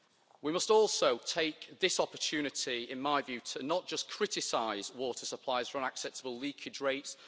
We must also take this opportunity, in my view, to not just criticise water suppliers for unacceptable leakage rates